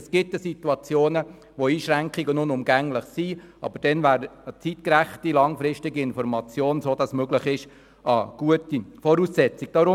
Es gibt Situationen, in denen Einschränkungen unumgänglich sind, aber dann ist eine zeitgerechte, langfristige Information als Voraussetzung wichtig.